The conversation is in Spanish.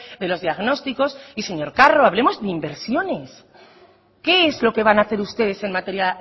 de los diagnósticos y señor carro hablemos de inversiones qué es lo que van a hacer ustedes en materia